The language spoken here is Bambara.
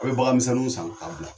A' bɛ bagan misɛnninw san ka bila